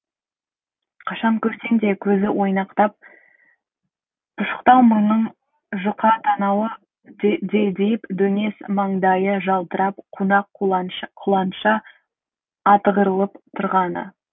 қашан көрсең де көзі ойнақтап пұшықтау мұрнының жұқа танауы делдиіп дөңес маңдайы жалтырап қунақ құланша атығырылып тұрғаны